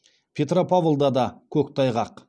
петропавлда да көктайғақ